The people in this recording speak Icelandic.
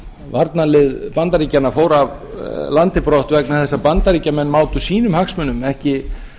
varnarlið bandaríkjanna fór af landi brott vegna þess að bandaríkjamenn mátu sínum hagsmunum ekki